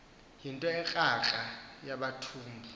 yinto ekrakra amathumbu